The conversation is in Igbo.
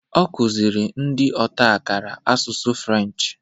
Okuziri ndi otakara Asụsụ French